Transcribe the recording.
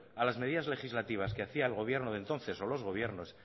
a las medidas legislativas que hacía el gobierno de entonces o los gobiernos